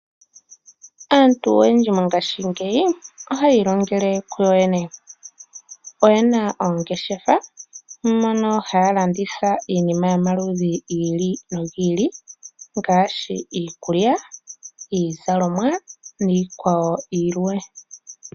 Aantu oyendji mongashingeyi ohaya ilongele kuyo yene . Oyena oongeshefa mono haya landitha iinima yomaludhi giili nogiili ngaashi iikulya, iizalomwa niikwawo yilwe.